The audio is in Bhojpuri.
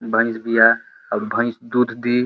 भइंस बिया और भइंस दुध दी।